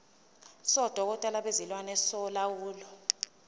sodokotela bezilwane solawulo